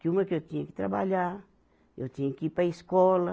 Que uma, que eu tinha que trabalhar, eu tinha que ir para a escola.